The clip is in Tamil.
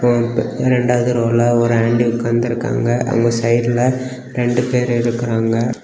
ப்பு ரெண்டாவது ரோ ல ஒரு ஆண்டி உக்காந்திருக்காங்க அவுங்க சைடுல ரெண்டு பேர் இருக்குறாங்க.